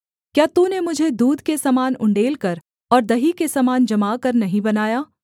क्या तूने मुझे दूध के समान उण्डेलकर और दही के समान जमाकर नहीं बनाया